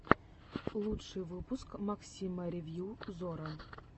лучший выпуск максима ревью зора